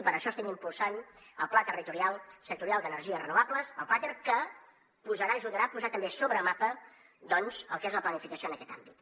i per això estem impulsant el pla territorial sectorial d’energies renovables el plater que ajudarà a posar també sobre el mapa doncs el que és la planificació en aquest àmbit